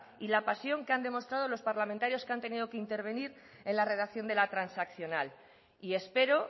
y la pasión que han demostrado los parlamentarios que han tenido que intervenir en la redacción de la transaccional y espero